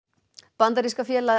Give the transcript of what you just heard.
bandaríska félagið